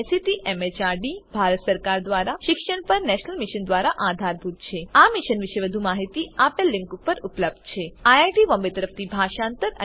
જે ICT MHRD Bharat સરકાર દ્વારા શિક્ષણ પર નેશનલ મિશન દ્વારા આધારભૂત છે આ મિશન વિશે વધુ માહીતી આ લીંક ઉપર ઉપલબ્ધ છે 1